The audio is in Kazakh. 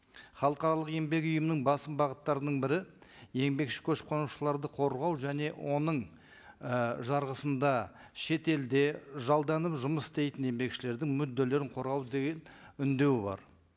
халықаралық еңбек ұйымының басым бағыттарының бірі еңбекші көшіп қонушыларды қорғау және оның і жарғысында шетелде жалданып жұмыс істейтін еңбекшілердің мүдделерін қорғау деген үндеуі бар